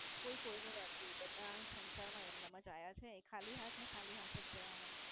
કોઈ કોઈનો વાતે નઈ. બધા સંસાર માં એમનામ જ આયા છે ખાલી હાથ ને ખાલી હાથ જ જવાના